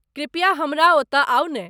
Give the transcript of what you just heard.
कृपया हमरा ओतऽ आउ ने ।